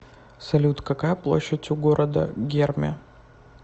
салют какая площадь у города герми